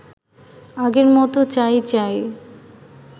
আগের মতো চাই চাই